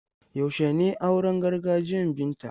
Yaushe ne auren gargajiyan Binta?